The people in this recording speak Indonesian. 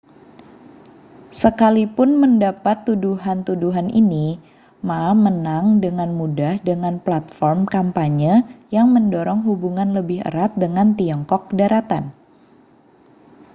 sekalipun mendapat tuduhan-tuduhan ini ma menang dengan mudah dengan platform kampanye yang mendorong hubungan lebih erat dengan tiongkok daratan